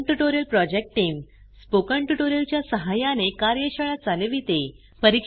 spoken tutorial project team spoken tutorial च्या सहाय्याने कार्यशाळा चालविते